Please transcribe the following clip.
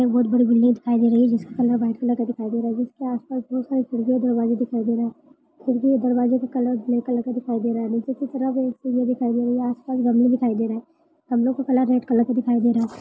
बहुत बड़ी बिल्डिंग दिखाई दे रही है जिसका कलर व्हाइट कलर का दिखाई दे रहा जिसके आसपास बहुत सारी खिड़की और दरवाजे दिखाई दे रहे खिड़की और दरवाजे का कलर ब्लॅक कलर का दिखाई दे रहा नीचे की तरफ एक दिखाई दे रही आसपास गमले दिखाई दे रहे गमलों का कलर रेड कलर दिखाई दे रहा है।